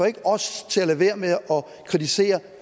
ikke får os til at lade være med at kritisere